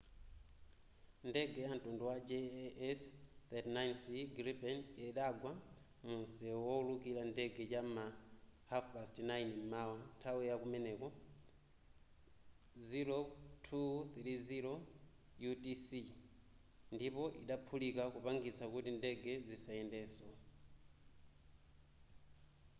ndege yamtundu wa jas 39c gripen idagwa munsewu wowulukira ndege cham'ma 09:30 m'mawa nthawi yakumeneko 0230 utc ndipo idaphulika kupangitsa kuti ndege zisayendenso